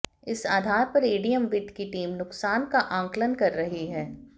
इस आधार पर एडीएम वित्त की टीम नुकसान का आंकलन कर रही है